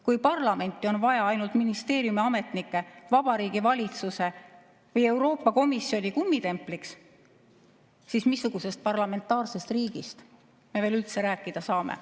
Kui parlamenti on vaja ainult ministeeriumiametnikke Vabariigi Valitsuse või Euroopa Komisjoni kummitempliks, siis missugusest parlamentaarsest riigist me veel üldse rääkida saame.